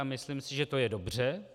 A myslím si, že to je dobře.